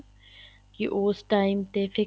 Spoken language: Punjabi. ਕੀ ਉਸ time ਤੇ